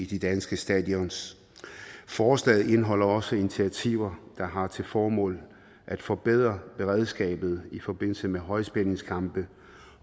de danske stadions forslaget indeholder også initiativer der har til formål at forbedre beredskabet i forbindelse med højspændingskampe